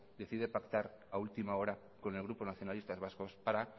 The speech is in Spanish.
decide pactar a última hora con el grupo nacionalistas vascos para